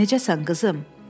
Necəsən, qızım?